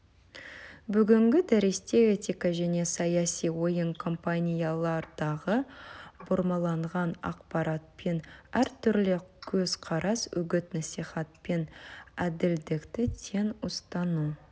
бүгінгі дәрісте этика және саяси ойын компаниялардағы бұрмаланған ақпарат пен әртүрлі көзқарас үгіт-насихат пен әділдікті тең ұстану